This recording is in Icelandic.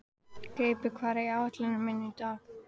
Greipur, hvað er á áætluninni minni í dag?